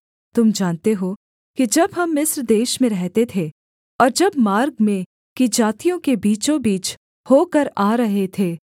तुम जानते हो कि जब हम मिस्र देश में रहते थे और जब मार्ग में की जातियों के बीचों बीच होकर आ रहे थे